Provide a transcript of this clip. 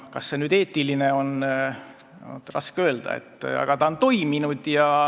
Kas see on eetiline, on raske öelda, aga ta on toiminud.